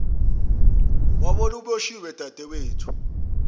wabola uboshiwe dadewethu